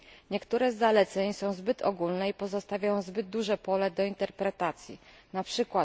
Niektóre z zaleceń są zbyt ogólne i pozostawiają zbyt duże pole do interpretacji, np.